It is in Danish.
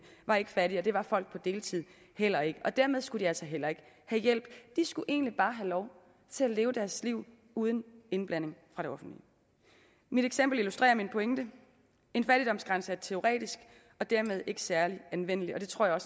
var ikke fattige og det var folk på deltid heller ikke og dermed skulle de altså heller ikke have hjælp de skulle egentlig bare have lov til at leve deres liv uden indblanding fra det offentlige mit eksempel illustrerer min pointe en fattigdomsgrænse er teoretisk og dermed ikke særlig anvendelig og det tror jeg